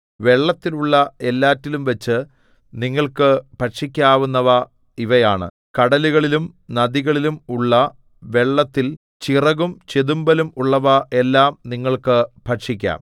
വെള്ളത്തിലുള്ള എല്ലാറ്റിലുംവച്ചു നിങ്ങൾക്ക് ഭക്ഷിക്കാവുന്നവ ഇവയാണ് കടലുകളിലും നദികളിലും ഉള്ള വെള്ളത്തിൽ ചിറകും ചെതുമ്പലും ഉള്ളവ എല്ലാം നിങ്ങൾക്ക് ഭക്ഷിക്കാം